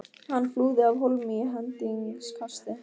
Hann flúði af hólmi í hendingskasti.